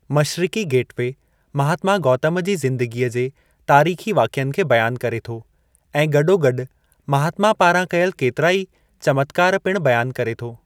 Mashriqi gateway Mahatma Gautam ji ज़िंदगीअ जे तारीख़ी वाक़िअनि खे बयानु करे थो ऐं गॾोगॾु महात्मा पारां कयल केतिराई चमत्कार पिणु बयानु करे थो।